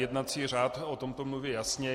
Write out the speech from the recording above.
Jednací řád o tom mluví jasně.